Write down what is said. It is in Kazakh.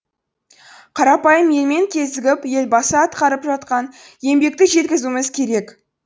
қарапайым елмен кезігіп елбасы атқарып жатқан еңбекті жеткізуіміз керек